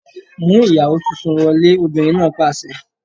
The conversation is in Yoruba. Mú ìyàwó tuntun wọlé! Obìnrin náà pàṣẹ.